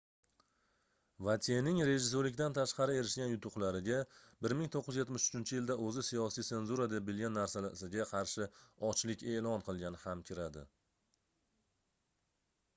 votyening rejissyorlikdan tashqari erishgan yutuqlariga 1973-yilda oʻzi siyosiy senzura deb bilgan narsasiga qarshi ochlik eʼlon qilgani ham kiradi